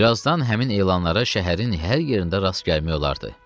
Birazdan həmin elanlara şəhərin hər yerində rast gəlmək olardı.